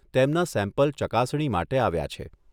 તેમના સેમ્પલ ચકાસણી માટે આવ્યા છે.